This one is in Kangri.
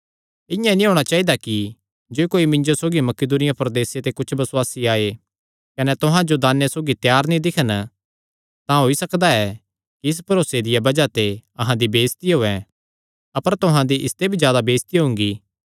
इआं नीं होणा चाइदा कि जे कोई मिन्जो सौगी मकिदुनिया प्रदेसे ते कुच्छ बसुआसी आये कने तुहां जो दाने सौगी त्यार नीं दिक्खन तां होई सकदा ऐ कि इस भरोसे दिया बज़ाह ते अहां दी बेइज्जती होयैं अपर तुहां दी इसते भी जादा बेइज्जती हुंगी